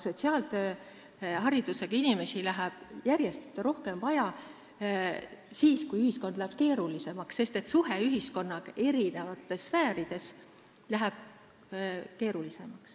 Sotsiaaltööharidusega inimesi läheb järjest rohkem vaja siis, kui ühiskond muutub keerulisemaks, sest ühiskonna eri sfääride suhe läheb keerulisemaks.